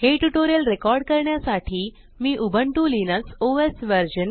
हे tutorial record करण्यासाठी मी उबुंटू लिनक्स ओएस व्हर्शन